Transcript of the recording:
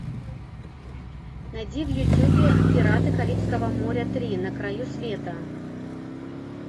найди в ютубе пираты карибского моря три на краю света